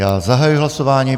Já zahajuji hlasování.